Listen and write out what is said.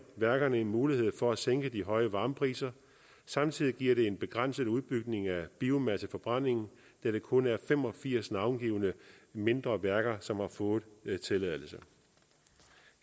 værkerne en mulighed for at sænke de høje varmepriser samtidig giver det en begrænset udbygning af biomasseforbrændingen da det kun er fem og firs navngivne mindre værker som har fået tilladelse